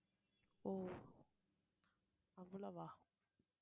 ஓ அவ்வளவா